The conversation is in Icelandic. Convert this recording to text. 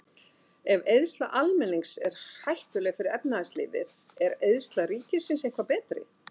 Ef eyðsla almennings er hættuleg fyrir efnahagslífið, er eyðsla ríkisins eitthvað betri?